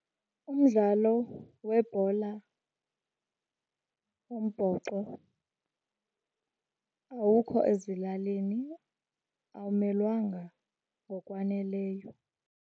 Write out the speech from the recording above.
Umdlalo webhola yombhoxo awukho ezilalini, awumelwanga ngokwaneleyo.